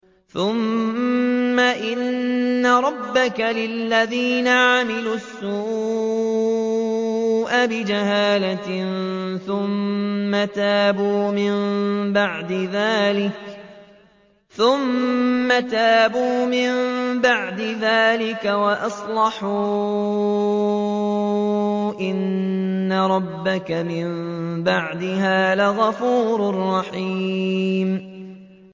ثُمَّ إِنَّ رَبَّكَ لِلَّذِينَ عَمِلُوا السُّوءَ بِجَهَالَةٍ ثُمَّ تَابُوا مِن بَعْدِ ذَٰلِكَ وَأَصْلَحُوا إِنَّ رَبَّكَ مِن بَعْدِهَا لَغَفُورٌ رَّحِيمٌ